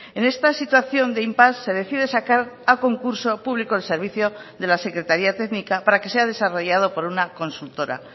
en esta situación de impás se decide sacar a concurso público el servicio de la secretaría técnica para que sea desarrollado por una consultora